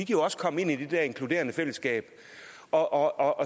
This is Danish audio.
jo også komme ind i det der inkluderende fællesskab og